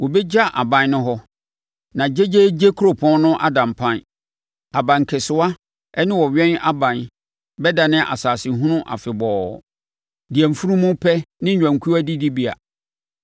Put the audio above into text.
Wɔbɛgya aban no hɔ, na gyegyeegye kuropɔn no ada mpan; abankɛsewa ne ɔwɛn aban bɛdane asase hunu afebɔɔ, deɛ mfunumu pɛ ne nnwankuo adidibea,